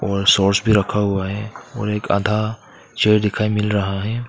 और सॉस भी रखा हुआ है और एक आधा चेयर दिखाई मिल रहा है।